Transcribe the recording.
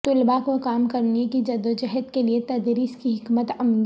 طلباء کو کام کرنے کی جدوجہد کے لئے تدریس کی حکمت عملی